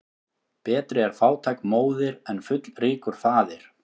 Betri er fátæk móðir en fullríkur faðir.